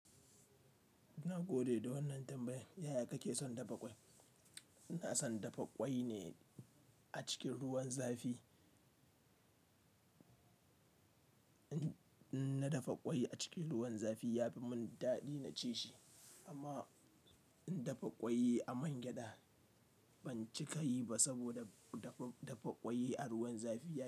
Na gode da wannan tambayan. Yaya kake son dafa ƙwai? Ina son dafa ƙwai ne a cikin ruwan zafi. In na dafa ƙwai a cikin ruwan zafi ya fi mun daɗi na ci shi amma in dafa ƙwai a man gyaɗa ban cika yi ba saboda dafa, dafa ƙwai a ruwan zafi ya.